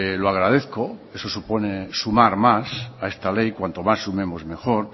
lo agradezco eso supone sumar más a esta ley cuanto más sumemos mejor